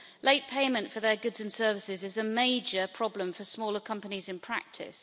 Late payment for their goods and services is a major problem for smaller companies in practice.